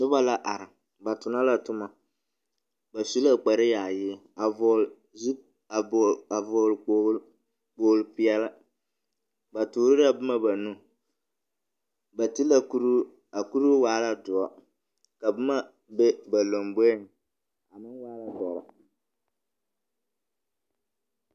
Noba la are, ba tona la toma. Ba su kpareyaayi a vɔgle zu a vɔgle a vɔgle kpogle kpogle-peɛle. Ba toore la boma ba nu. Ba ti la kuruu a kuruu waa la doɔ, ka boma be ba lamboeŋ, a meŋ waa la dɔre.